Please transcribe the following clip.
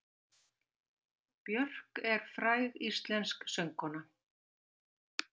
Björk er fræg íslensk söngkona.